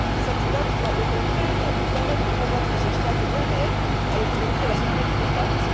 Cette date doit au contraire permettre de combattre les obstacles bien réels à l'autonomie et à la sécurité des femmes.